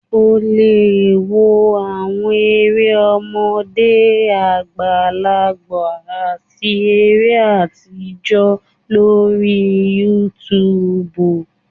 ò le wò àwọn eré ọmọde, àgbàlágbà ati eré atijọ lorí YouTube.